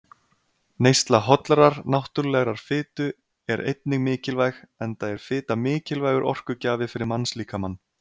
Neysla hollrar, náttúrulegrar fitu er einnig mikilvæg, enda er fita mikilvægur orkugjafi fyrir mannslíkamann.